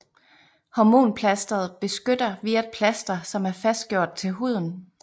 Hormonplasteret beskytter via et plaster som er fastgjort til huden